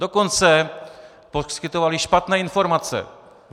Dokonce poskytovaly špatné informace.